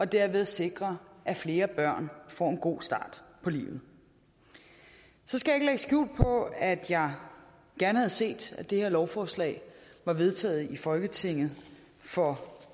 derved sikrer at flere børn får en god start på livet så skal jeg skjul på at jeg gerne havde set at det her lovforslag var vedtaget i folketinget for